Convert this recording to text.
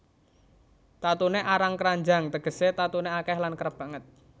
Tatuné arang kranjang tegesé tatuné akèh lan kerep banget